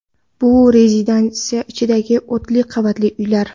Bu rezidensiya ichidagi olti qavatli uylar.